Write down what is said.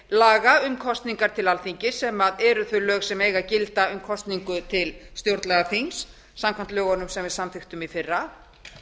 laga um kosningar til alþingis sem eru þau lög sem eiga að gilda um kosningu til stjórnlagaþings samkvæmt lögunum sem við samþykktum í fyrra